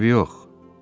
Eybi yox.